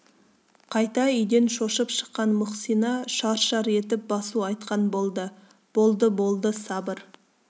қайта үйден шошып шыққан мұхсина шар-шар етіп басу айтқан болды болды-болды сабыр